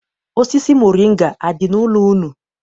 Osisi moringa adị n'ụlọ unu?